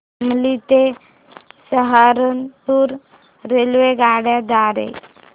शामली ते सहारनपुर रेल्वेगाड्यां द्वारे